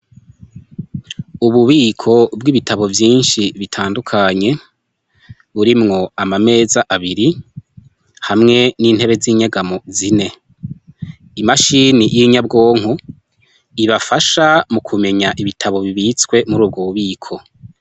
Ububiko bw'ibitabo vyinshi bitandukanye burimwo amameza abiri hamwe n'intebe z'inyagamo zine imashini y'inyabwonko ibafasha mu kumenya ibitabo bibitswe muri ubwo bubiko.